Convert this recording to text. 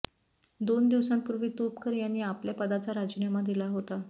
दोन दिवसांपूर्वी तुपकर यांनी आपल्या पदाचा राजीनामा दिला होता